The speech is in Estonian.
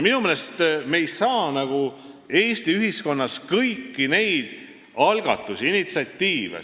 Minu meelest ei saa me Eesti ühiskonnas kõiki algatusi, initsiatiive arvestamata jätta.